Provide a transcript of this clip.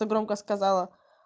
громко сказала